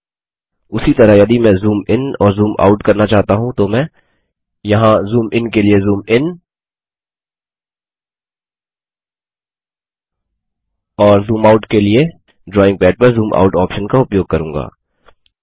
उसी तरह यदि मैं जूम इन और जूम आउट करना चाहता हूँ तो मैं यहाँ जूम इन के लिए जूम इन और जूम आउट के लिए ड्रॉइंग पैड पर जूम आउट ऑप्शन का उपयोग करूँगा